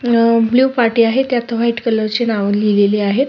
पाटी आहे त्यात व्हाईट कलर ची नाव लिहिलेली आहेत.